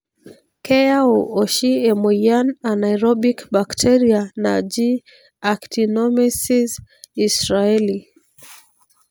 keyau oshi emoyian anaerobic bacteria naji Actinomyces israelii.